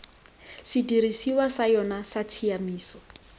sedirisiwa sa yona sa tshiamiso